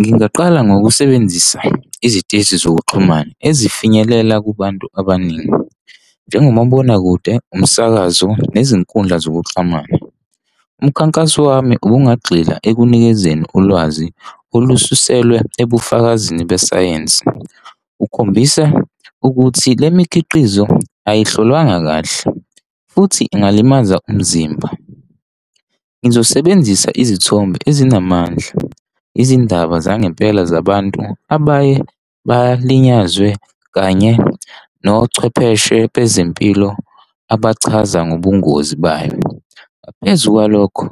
Ngingaqala ngokusebenzisa iziteshi zokuxhumana ezifinyelela kubantu abaningi njengomabonakude umsakazo nezinkundla zokuxhumana. Umkhankaso wami ubungagxila ekunikezeni ulwazi olususelwa ebufakazini besayensi. Kukhombisa ukuthi le mikhiqizo ayihlolwanga kahle futhi ikungalimaza umzimba. Ngizosebenzisa izithombe ezinamandla, izindaba zangempela zabantu abaye balinyakwe, kanye nochwepheshe bezempilo abachaza ngobungozi bayo. Ngaphezu kwalokho,